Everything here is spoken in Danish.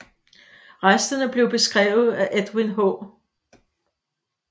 Resterne blev beskrevet af Edwin H